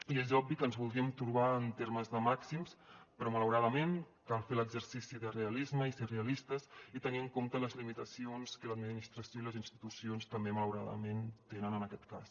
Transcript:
i és obvi que ens voldríem trobar en termes de màxims però malauradament cal fer l’exercici de realisme i ser realistes i tenir en compte les limitacions que l’administració i les institucions també malauradament tenen en aquest cas